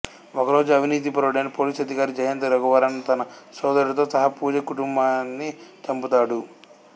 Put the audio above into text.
ఒక రోజు అవినీతిపరుడైన పోలీసు అధికారి జయంత్ రఘువరన్ తన సోదరుడితో సహా పూజ కుటుంబాన్ని చంపుతాడు